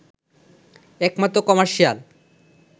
একমাত্র কমার্শিয়াল